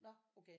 Nå okay